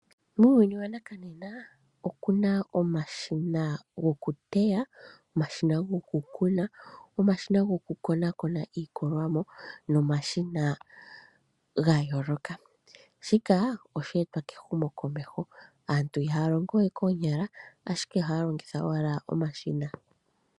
Muuyuni wanakanena oku na omashina gokuteya, gokukuna, gokukonakona iilikolwamo nomashina ga yooloka shika osheetwa kehumokomeho. Aantu ihaya longo we koonyala ashike ohaya longitha owala omashina.